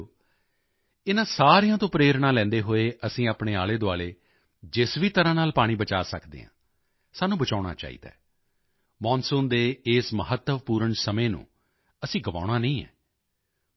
ਸਾਥੀਓ ਇਨ੍ਹਾਂ ਸਾਰਿਆਂ ਤੋਂ ਪ੍ਰੇਰਣਾ ਲੈਂਦੇ ਹੋਏ ਅਸੀਂ ਆਪਣੇ ਆਲੇਦੁਆਲੇ ਜਿਸ ਵੀ ਤਰ੍ਹਾਂ ਨਾਲ ਪਾਣੀ ਬਚਾਅ ਸਕਦੇ ਹਾਂ ਸਾਨੂੰ ਬਚਾਉਣਾ ਚਾਹੀਦਾ ਹੈ ਮੌਨਸੂਨ ਦੇ ਇਸ ਮਹੱਤਵਪੂਰਨ ਸਮੇਂ ਨੂੰ ਅਸੀਂ ਗਵਾਉਣਾ ਨਹੀਂ ਹੈ